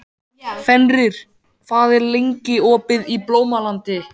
Fenrir, hvað er lengi opið í Blómalandi?